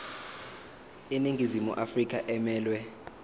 iningizimu afrika emelwe